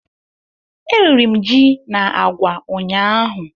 Eriri m ji na agwa ụnyaahụ